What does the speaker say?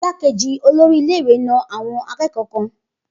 Igbákejì olórí ilé ìwé na àwọn akẹ́kọ̀ọ́ kan